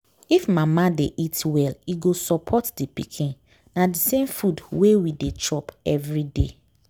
if mama dey eat well e go support the pikin. na the same food wey we dey chop every day.